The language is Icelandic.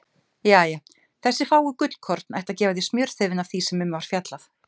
Jæja, þessi fáu gullkorn ættu að gefa þér smjörþefinn af því sem um var fjallað.